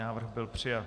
Návrh byl přijat.